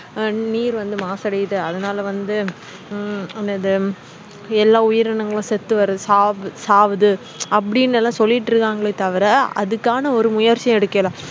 நீர் வந்து மாசு அடையுது அதனால வந்து உம் எல்லா உயிரினகளும் செத்து வருது சாவு சாவுது அப்புடி எல்லாம் சொல்லிட்டு இருகங்கலே தவிர அதுக்கான ஒரு முயர்ச்சியும் எடுக்கல